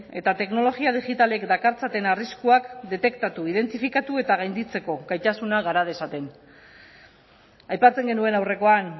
eta teknologia digitalek dakartzaten arriskuak detektatu identifikatu eta gainditzeko gaitasuna gara dezaten aipatzen genuen aurrekoan